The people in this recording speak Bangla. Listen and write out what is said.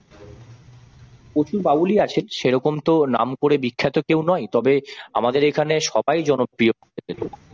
প্রচুর বাউলই আছেন সেরকম তো নাম করে বিখ্যাত কেউ নয় তবে আমাদের এখানে সবাই জনপ্রিয়।